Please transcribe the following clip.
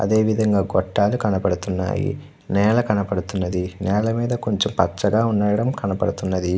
అదే విధం గ గోతల్లు కనబడుతునై. నెల కనబ్డుతునది. నెల మేధా కొంచెం పచగా కనబడుతూ వున్నది.